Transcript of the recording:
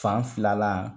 Fan filala